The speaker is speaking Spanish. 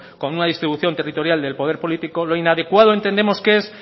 con una distribución territorial de poder político lo inadecuado entendemos que es